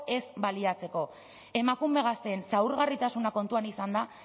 ez baliatzeko emakume gazteen zaurgarritasuna kontuan izanda